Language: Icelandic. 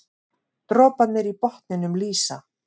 Droparnir í botninum lýsa.